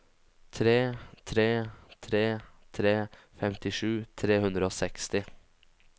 tre tre tre tre femtisju tre hundre og seksti